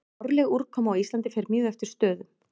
Árleg úrkoma á Íslandi fer mjög eftir stöðum.